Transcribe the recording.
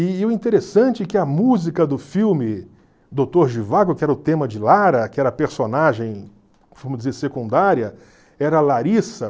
E o interessante é que a música do filme Doutor Zhivago, que era o tema de Lara, que era a personagem, vamos dizer, secundária, era Larissa.